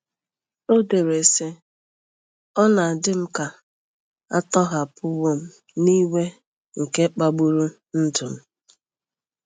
O dere, sị: “Ọ na-adị m ka a tọhapụwo m n'iwe nke kpagburu ndụ m.